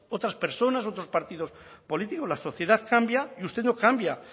otras personas otros partidos políticos la sociedad cambia y usted no cambia